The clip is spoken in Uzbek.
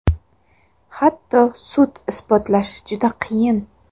Hatto sud isbotlashi juda qiyin.